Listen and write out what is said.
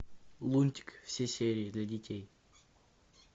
лунтик все серии для детей